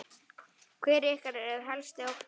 Hver er ykkar helsti ótti?